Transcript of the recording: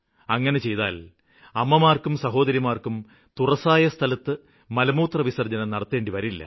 അങ്ങിനെ മുഴുവന് ജില്ലയിലും അമ്മമാര്ക്കും സഹോദരിമാര്ക്കും തുറസ്സായ സ്ഥലത്ത് മലമൂത്രവിസര്ജ്ജനം നടത്തേണ്ടിവരില്ല